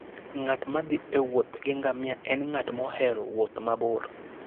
Ng'at ma thi e wuoth gi ngamia en ng'at mohero wuoth mabor.